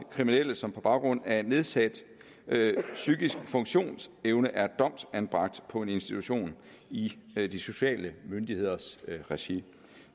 kriminelle som på baggrund af en nedsat psykisk funktionsevne er domsanbragt på en institution i de sociale myndigheders regi